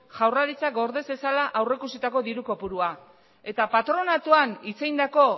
jaurlaritzak gorde zezala aurre ikusitako diru kopurua eta patronatuan hitz egindako